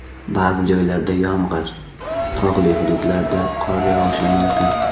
Ba’zi joylarda yomg‘ir, tog‘li hududlarda qor yog‘ishi mumkin.